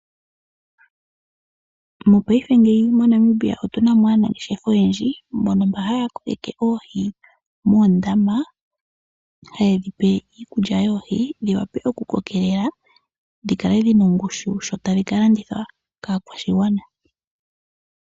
Mopaife ngeyi moNamibia otu na mo aanangeshefa oyendji mbono mba haya kokeke oohi moondama, haye dhi pe iikulya yoohi dhi wape okukelela, dhi kale dhi na ongushu sho tadhi ka landithwa kaakwashigwana.